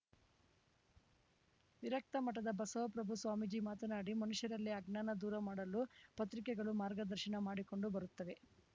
ವಿರಕ್ತ ಮಠದ ಬಸವಪ್ರಭು ಸ್ವಾಮೀಜಿ ಮಾತನಾಡಿ ಮನುಷ್ಯರಲ್ಲಿ ಅಜ್ಞಾನ ದೂರ ಮಾಡಲು ಪತ್ರಿಕೆಗಳು ಮಾರ್ಗದರ್ಶನ ಮಾಡಿಕೊಂಡು ಬರುತ್ತವೆ